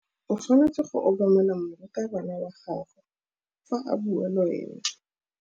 O tshwanetse go obamela morutabana wa gago fa a bua le wena.